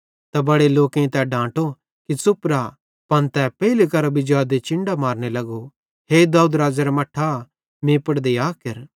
त बड़े लोकेईं तै डांटो कि च़ुप रा पन तै पेइले केरां जादे चिन्डां मारने लगो हे दाऊद राज़ेरा मट्ठा मीं पुड़ दया केर